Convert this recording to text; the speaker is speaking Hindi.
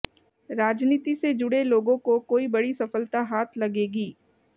राजनीति से जुड़े लोगों को कोई बड़ी सफलता हाथ लगेगी